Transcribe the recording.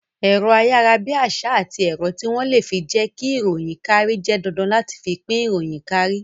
Ẹ̀rọ ayarabiasa àti ẹ̀rọ tí wón le fi jẹ ki ìròyìn kárí jẹ́ dandan láti fi pín ìròyìn kárí